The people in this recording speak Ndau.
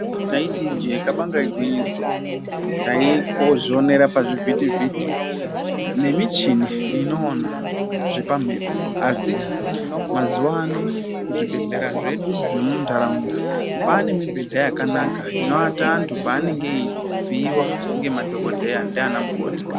Taiti ijee kabanga igwinyiso taimbozvionera pazvivhiti-vhiti nemichini inoona zvepamhepo. Asi mazuva ano zvibhedhlera zvedu zvemuntaraunda kwane mibhedha yakanaka inovata vantu pavanenge veiviiva ngemadhogodheya ndiana mukoti.